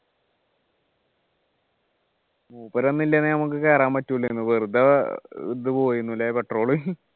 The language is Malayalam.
മൂപ്പര് ഒന്നും ഇല്ലെങ്കിൽ കേറാൻ പറ്റൂലായിരുന്നു വെറുതെ ഇത് പോയിന്നുല്ലേ അല്ലേ petrol